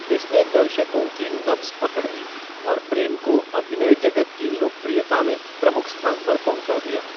इसने दर्शकों की नब्ज पकड़ ली और प्रेम को अभिनय जगत की लोकप्रियता में प्रमुख स्थान पर पहुंचा दिया।